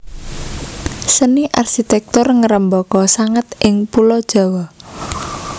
Seni arsitektur ngrembaka sanget ing Pulo Jawa